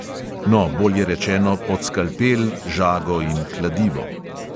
No, bolje rečeno pod skalpel, žago in kladivo.